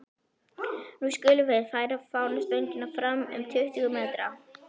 Nú skulum við færa fánastöngina fram um tuttugu metra.